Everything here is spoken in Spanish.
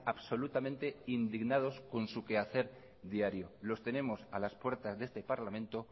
absolutamente indignados con su quehacer diario los tenemos a las puertas de este parlamento